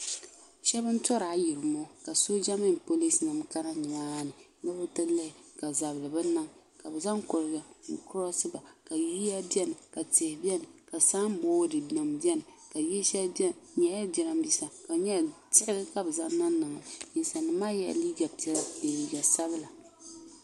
shɛba n-tɔri ayirimo ka sooja nima mini polinsi nima kana ni maa ni ni bɛ ti lihi ka zabili bi niŋ ka zaŋ kɔliba n-koroosiba ka yiya beni ka tihi beni ka samboodi nima beni ka yil' shɛli beni di nyɛla jiraaminsa ka di nyɛla diɣi ka bɛ zaŋ niŋ niŋli ninsalinima maa yela liiga piɛla ni liiga sabila